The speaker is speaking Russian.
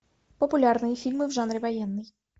популярные фильмы в жанре военный